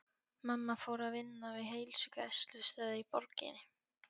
Mamma fór að vinna við heilsugæslustöð í borginni.